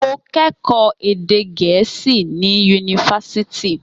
Mo kẹ́kọ̀ọ́ èdè Gẹ̀ẹ́sì ní Yunifásítì